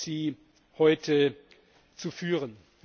sie heute zu führen.